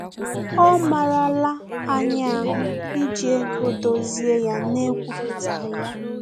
Ọ marala anyị ahụ iji ego dozie ya na-ekwupụtaghi ya